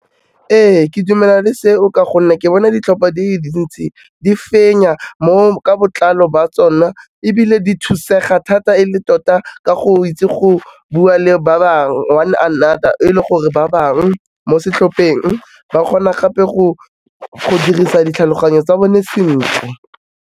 Ee ke dumelana le seo, ka gonne ke bona ditlhopha dile dintsi, di fenya ka botlalo ba tsona ebile di thusega thata e le tota ka go itse go bua le ba bangwe, one another e le gore ba bangwe mo setlhopheng, ba kgona gape go dirisa ditlhaloganyo tsa bone sentle.